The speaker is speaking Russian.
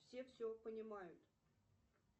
все все понимают